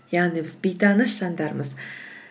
яғни біз бейтаныс жандармыз